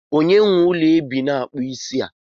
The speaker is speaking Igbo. Onye nwe ụlọ ebe a na-akpụ isi a?